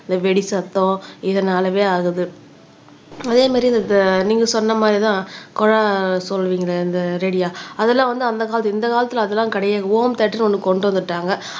இந்த வெடி சத்தம் இதனாலவே ஆகுது அதே மாதிரி நீங்க சொன்ன மாதிரிதான் குழாய் சொல்லுவீங்க இந்த ரேடியா அதெல்லாம் வந்து அந்த காலத்துல இந்த கால காலத்துல அதெல்லாம் கிடையாது ஹோம் தியேட்டர்ன்னு ஒண்ணு கொண்டு வந்துட்டாங்க